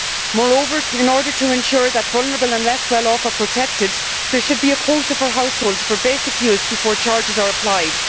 Moreover, in order to ensure that the vulnerable and less well off are protected, there should be a quota for households for basic use before charges are applied.